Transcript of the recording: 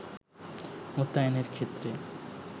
মোতায়েনের ক্ষেত্রে